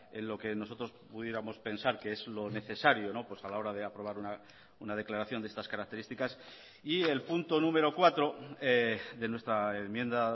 en lo que nosotros pudiéramos pensar que es lo necesario a la hora de aprobar una declaración de estas características y el punto número cuatro de nuestra enmienda